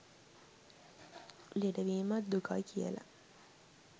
ලෙඩවීමත් දුකයි කියලා.